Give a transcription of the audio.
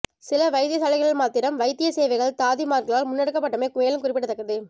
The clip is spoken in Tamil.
சில வைத்தியசாலைகளில் மாத்திரம் வைத்திய சேவைகள் தாதிமார்களால் முன்னெடுக்கப்பட்டமை மேலும் குறிப்பிடதக்கது